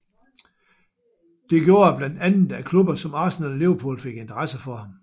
Det gjorde blandt andet at klubber som Arsenal og Liverpool fik interesse for ham